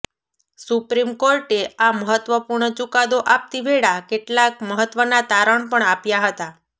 supreme કોર્ટે આ મહત્વપૂર્ણ ચુકાદો આપતી વેળા કેટલાક મહત્વના તારણ પણ આપ્યા હતા